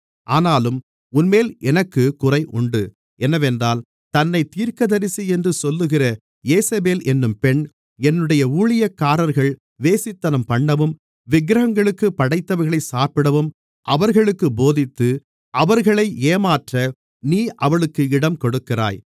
ஆனாலும் உன்மேல் எனக்குக் குறை உண்டு என்னவென்றால் தன்னைத் தீர்க்கதரிசி என்று சொல்லுகிற யேசபேல் என்னும் பெண் என்னுடைய ஊழியக்காரர்கள் வேசித்தனம்பண்ணவும் விக்கிரகங்களுக்குப் படைத்தவைகளைச் சாப்பிடவும் அவர்களுக்குப் போதித்து அவர்களை ஏமாற்ற நீ அவளுக்கு இடம் கொடுக்கிறாய்